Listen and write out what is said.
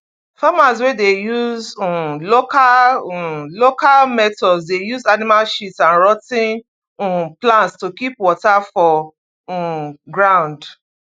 farmers wey dey use um local um local methods dey use animal shit and rot ten um plant to keep water for um ground